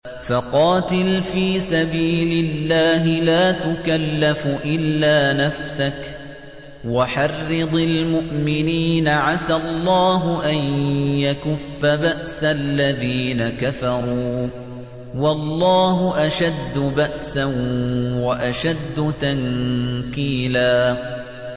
فَقَاتِلْ فِي سَبِيلِ اللَّهِ لَا تُكَلَّفُ إِلَّا نَفْسَكَ ۚ وَحَرِّضِ الْمُؤْمِنِينَ ۖ عَسَى اللَّهُ أَن يَكُفَّ بَأْسَ الَّذِينَ كَفَرُوا ۚ وَاللَّهُ أَشَدُّ بَأْسًا وَأَشَدُّ تَنكِيلًا